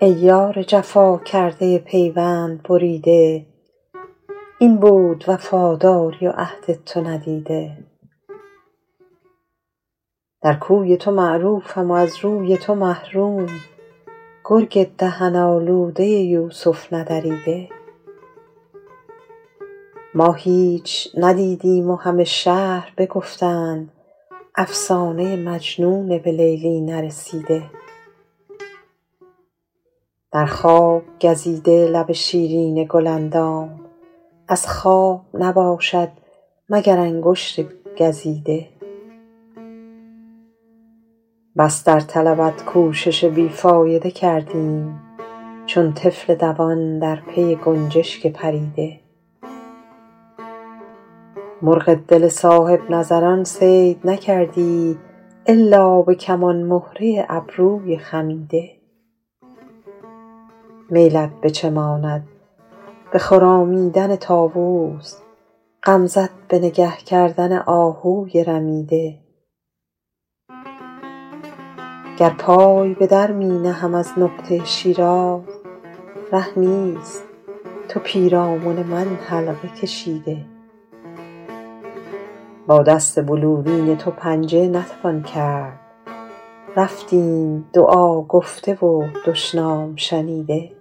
ای یار جفا کرده پیوند بریده این بود وفاداری و عهد تو ندیده در کوی تو معروفم و از روی تو محروم گرگ دهن آلوده یوسف ندریده ما هیچ ندیدیم و همه شهر بگفتند افسانه مجنون به لیلی نرسیده در خواب گزیده لب شیرین گل اندام از خواب نباشد مگر انگشت گزیده بس در طلبت کوشش بی فایده کردیم چون طفل دوان در پی گنجشک پریده مرغ دل صاحب نظران صید نکردی الا به کمان مهره ابروی خمیده میلت به چه ماند به خرامیدن طاووس غمزه ت به نگه کردن آهوی رمیده گر پای به در می نهم از نقطه شیراز ره نیست تو پیرامن من حلقه کشیده با دست بلورین تو پنجه نتوان کرد رفتیم دعا گفته و دشنام شنیده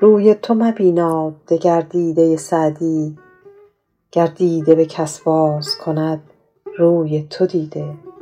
روی تو مبیناد دگر دیده سعدی گر دیده به کس باز کند روی تو دیده